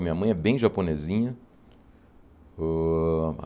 A minha mãe é bem japonesinha. ôah